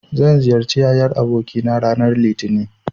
Zan ziyarci yayar abokina ranar Litinin.